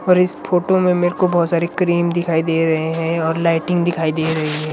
और इस फोटो में मेरे को बहुत सारी क्रीम दिखाई दे रही है और लाइटिंग दिखाई दे रही है।